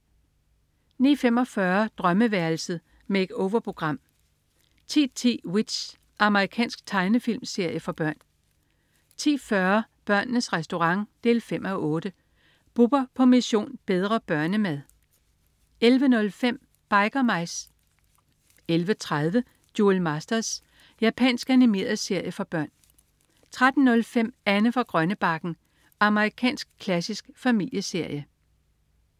09.45 Drømmeværelset. Make-over-program 10.10 W.i.t.c.h. Amerikansk tegnefilmserie for børn 10.40 Børnenes Restaurant 5:8. Bubber på "Mission: Bedre børnemad" 11.05 Biker Mice 11.30 Duel Masters. Japansk animeret serie for børn 13.05 Anne fra Grønnebakken. Amerikansk klassisk familieserie